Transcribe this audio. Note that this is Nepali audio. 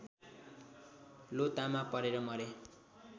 लोतामा परेर मरे